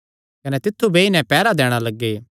कने तित्थु बेई नैं पैहरा दैणा लग्गे